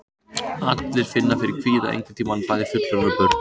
Allir finna fyrir kvíða einhvern tíma, bæði fullorðnir og börn.